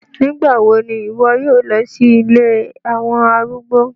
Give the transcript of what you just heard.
Nigbawo ni iwọ yoo lọ si ilé awọn arúgbó?